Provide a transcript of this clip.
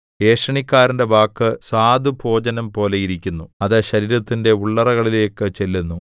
ഏഷണിക്കാരന്റെ വാക്ക് സ്വാദുഭോജനംപോലെയിരിക്കുന്നു അത് ശരീരത്തിന്റെ ഉള്ളറകളിലേക്ക് ചെല്ലുന്നു